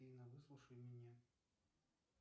афина выслушай меня